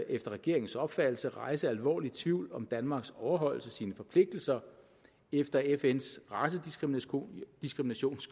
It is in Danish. efter regeringens opfattelse rejse alvorlig tvivl om danmarks overholdelse af sine forpligtelser efter fns racediskriminationskonvention